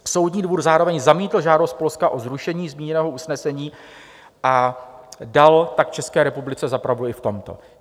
Soudní dvůr zároveň zamítl žádost Polska o zrušení zmíněného usnesení, a dal tak České republice za pravdu i v tomto.